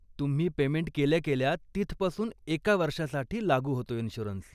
तुम्ही पेमेंट केल्या केल्या, तिथपासून एका वर्षासाठी लागू होतो इन्श्युरन्स.